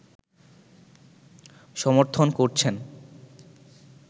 সমর্থন করছেন